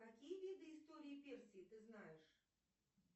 какие виды истории персии ты знаешь